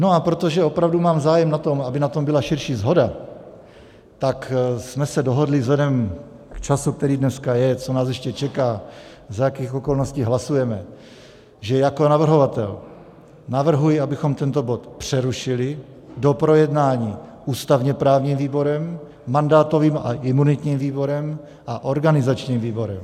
No a protože opravdu mám zájem na tom, aby na tom byla širší shoda, tak jsme se dohodli vzhledem k času, který dneska je, co nás ještě čeká, za jakých okolností hlasujeme, že jako navrhovatel navrhuji, abychom tento bod přerušili do projednání ústavně-právním výborem, mandátovým a imunitním výborem a organizačním výborem.